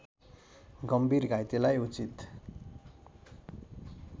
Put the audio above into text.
गम्भीर घाइतेलाई उचित